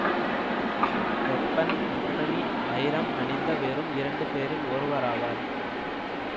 Hepburn Tiffany வைரம் அணிந்த வெறும் இரண்டு பேரில் ஒருவராவார்